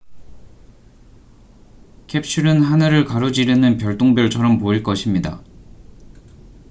캡슐은 하늘을 가로지르는 별똥별처럼 보일 것입니다